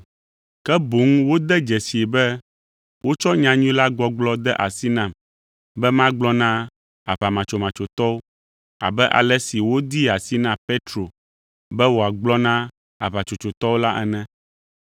Ke boŋ wode dzesii be wotsɔ nyanyui la gbɔgblɔ de asi nam be magblɔ na aʋamatsomatsotɔwo abe ale si wodee asi na Petro be wòagblɔ na aʋatsotsotɔwo la ene.